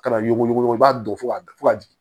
Kana yuguyugu i b'a don fo ka fo ka jigin